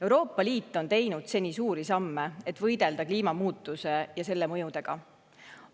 Euroopa Liit on teinud suuri samme, et võidelda kliimamuutuse ja selle mõjudega.